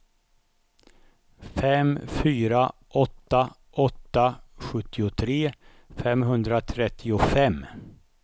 fem fyra åtta åtta sjuttiotre femhundratrettiofem